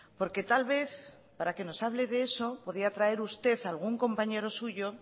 porque tal vez para que nos hable de eso podría traer usted algún compañero suyo